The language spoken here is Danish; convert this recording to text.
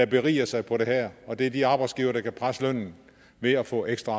berige sig på det her og det er de arbejdsgivere der kan presse lønnen ved at få ekstra